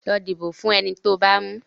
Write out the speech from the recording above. Lọ dìbò fún eni tó bá mú.